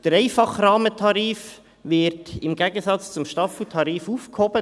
Der einfache Rahmentarif wird im Gegensatz zum Staffeltarif aufgehoben.